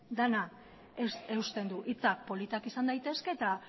dena eusten du hitzak politak izan daitezke eta